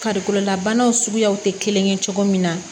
Farikololabanaw suguyaw tɛ kelen ye cogo min na